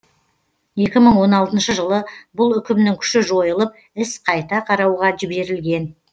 екі мың он алтыншы жылы бұл үкімнің күші жойылып іс қайта қарауға жіберілген